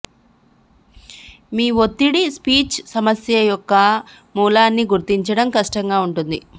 మీ ఒత్తిడి స్విచ్ సమస్య యొక్క మూలాన్ని గుర్తించడం కష్టంగా ఉంటుంది